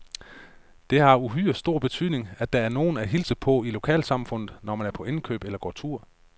Det har uhyre stor betydning, at der er nogen at hilse på i lokalsamfundet, når man er på indkøb eller går tur.